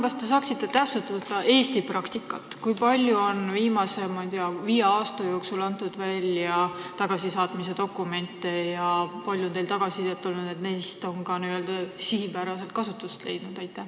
Kas te saaksite palun täpsustada Eesti praktikat: kui palju on viimase viie aasta jooksul antud välja tagasisaatmise dokumente ja kui palju on olnud tagasisidet, et need on ka sihipärast kasutust leidnud?